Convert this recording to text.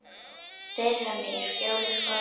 þeirra mig í skjóli skorða